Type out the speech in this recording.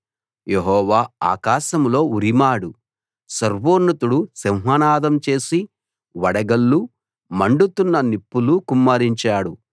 యెహోవా ఆకాశంలో ఉరిమాడు సర్వోన్నతుడు సింహనాదం చేసి వడగళ్ళు మండుతున్న నిప్పులు కుమ్మరించాడు